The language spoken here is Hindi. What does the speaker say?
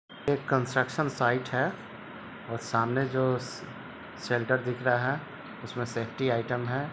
एक कंस्ट्रक्शन साइट है और सामने जो सेंटर दिख रहा है उसमे सेफ्टी आइटम हैं।